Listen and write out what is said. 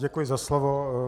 Děkuji za slovo.